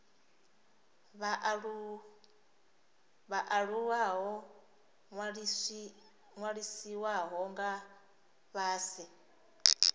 vhaaluwa ho ṅwalisiwaho nga fhasi